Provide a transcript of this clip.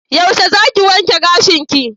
Yaushe zaki wanke gashinki?